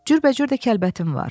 Cürbəcür də kəlbətin var.